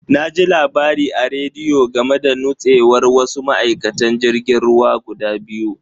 Na ji labari a rediyo game da nutsewar wasu ma'aikatan jirgin ruwa guda biyu.